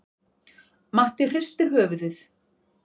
Matti hristir höfuðið.